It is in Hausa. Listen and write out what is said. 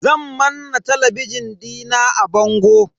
Zan manna talabijin dina a bango.